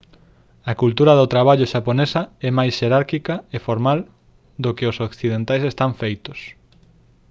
a cultura do traballo xaponesa é máis xerárquica e formal do que os occidentais están afeitos